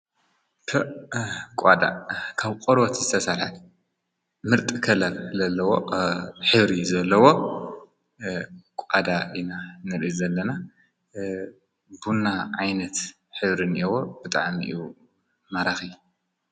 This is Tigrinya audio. ፐእ ቋዳ ካብ ቆርበት ዝተሰርሐ ምርጥ ከለር ለለዎ ሕብሪ ዘለዎ ቋዳ ኢና ንርኢ ዘለና ቡና ዓይነት ሕብሪ እንየዎ ብጣዕሚ እዩ ማራኺ